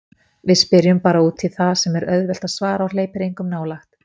Við spyrjum bara útí það sem er auðvelt að svara og hleypir engum nálægt.